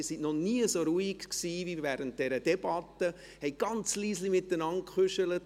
Sie waren noch nie so ruhig, wie während dieser Debatte und haben nur ganz leise miteinander getuschelt.